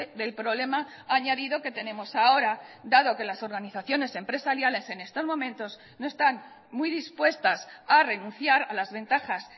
del problema añadido que tenemos ahora dado que las organizaciones empresariales en estos momentos no están muy dispuestas a renunciar a las ventajas